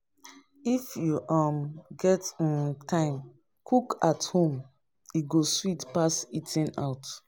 If you um get um time, cook at home; e go sweet pass eating out.